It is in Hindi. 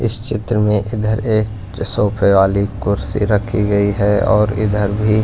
इस चित्र में इधर एक सोफे वाली कुर्सी रखी गई है और इधर भी--